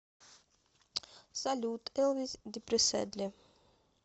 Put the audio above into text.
салют элвис депресседли